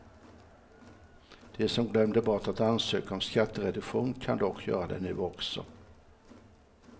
De som glömde bort att ansöka om skattereduktion kan dock göra det nu också.